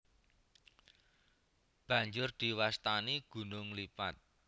Banjur diwastani gunung lipat